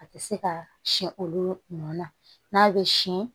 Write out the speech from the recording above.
A tɛ se ka siyɛn olu nɔ na n'a bɛ sin